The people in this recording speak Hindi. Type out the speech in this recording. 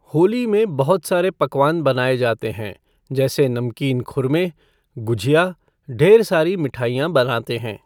होली में बहुत सारे पकवान बनाए जाते हैं जैसे नमकीन खुरमें, गुजिया, ढ़ेर सारी मिठाईयाँ बनाते हैं।